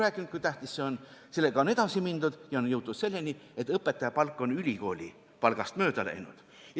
On arutatud, kui tähtis see on, sellega on edasi mindud ja on jõutud selleni, et õpetaja palk on ülikooli õppejõu palgast mööda läinud.